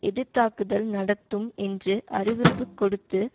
எதிர் தாக்குதல் நடத்தும் என்று அறிவிப்பு கொடுத்து